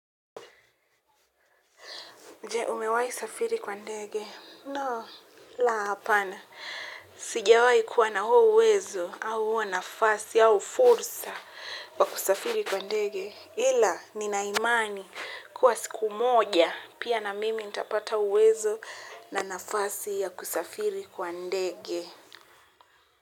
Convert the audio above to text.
Jee, umewahi safiri kwa ndege? No la hapana sijawahi kuwa na huo uwezo, au huo nafasi, au fursa wa kusafiri kwa ndege. Ila, nina imani kuwa siku moja, pia na mimi nitapata uwezo na nafasi ya kusafiri kwa ndege.